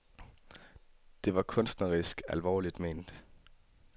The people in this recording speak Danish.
Det var kunstnerisk alvorligt ment.